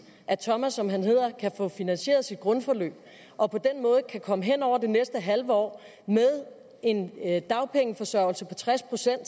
at thomas som han hedder kan få finansieret sit grundforløb og på den måde kan komme hen over det næste halve år med en dagpengeforsørgelse på tres procent og